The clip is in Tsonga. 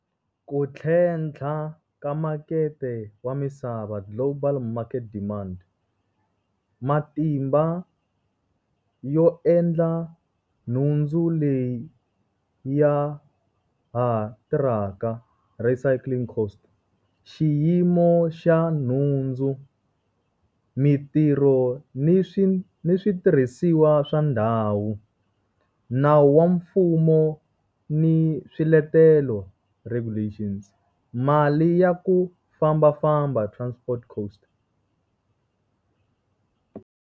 Ku tlhentlha ka makete wa misava global market demand. Matimba yo endla nhundzu leyi ya ha tirhaka, recycling cost. Xiyimo xa nhundzu, mintirho ni ni switirhisiwa swa ndhawu. Nawu wa mfumo ni swiletelo, regulations. Mali ya ku fambafamba, transport cost.